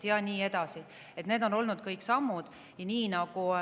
Ja nii edasi, need kõik on sammud.